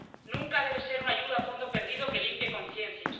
Nunca debe ser una ayuda a fondo perdido que limpie conciencias.